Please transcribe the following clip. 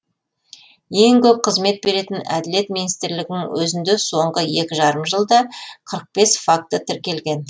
ең көп қызмет беретін әділет министрлігінің өзінде соңғы екі жарым жылда қырық бес факті тіркелген